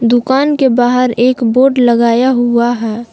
दुकान के बाहर एक बोर्ड लगाया हुआ है।